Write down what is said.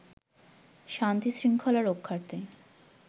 শান্তি শৃঙ্খলা রক্ষার্থে